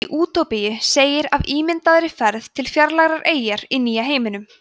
í útópíu segir af ímyndaðri ferð til fjarlægrar eyjar í nýja heiminum